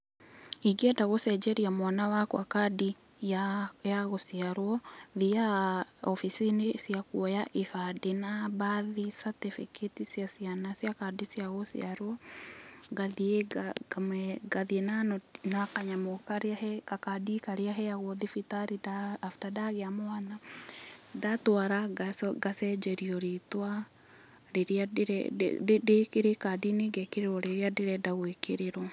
Ingĩenda gũcenjeria mwana wakwa kandi ya gũciarwo, thiaga obicini cia kuoya ibandĩ na birth certificate cia ciana cia kandi cia gũciarwo. Ngathiĩ na kanyamũ karĩa, gakandi karĩa heagwo thibitari after ndagĩa mwana. Ndatwara ngacenjerio rĩtwa rĩrĩa rĩ kandi-inĩ ngekĩrĩrwi rĩrĩa ndĩrenda gũĩkĩrĩrwo.